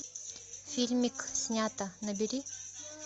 фильмик снято набери